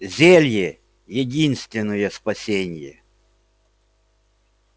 зелье единственное спасение